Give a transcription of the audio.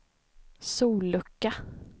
sollucka